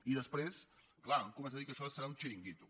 i després clar han començat a dir que això serà un xiringuito